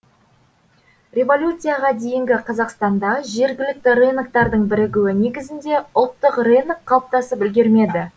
революцияға дейінгі қазақстанда жергілікті рыноктардың бірігуі негізінде ұлттық рынок қалыптасып үлгермеді